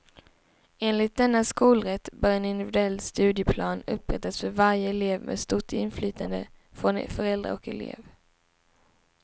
Enligt denna skolrätt bör en individuell studieplan upprättas för varje elev med stort inflytande från föräldrar och elev.